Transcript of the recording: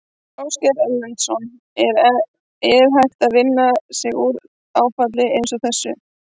Ásgeir Erlendsson: En er hægt að vinna sig út úr áfalli eins og þessu?